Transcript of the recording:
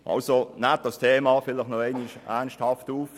Nehmen Sie das Thema nochmals ernsthaft auf.